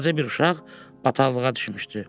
Balaca bir uşaq bataqlığa düşmüşdü.